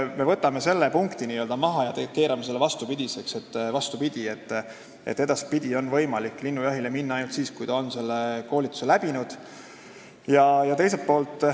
Me võtame selle punkti maha ja keerame selle vastupidiseks, nii et edaspidi on võimalik linnujahile minna ainult siis, kui on see koolitus läbi tehtud.